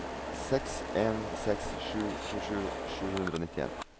seks en seks sju tjuesju sju hundre og nittien